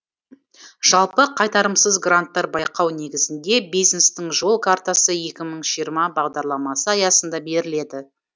жалпы қайтарымсыз гранттар байқау негізінде бизнестің жол картасы екі мың жиырма бағдарламасы аясында беріледі